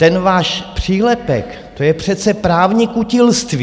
Ten váš přílepek, to je přece právní kutilství.